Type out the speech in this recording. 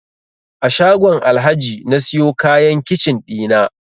A shagon Alhaji na siyo kayan kicin ɗina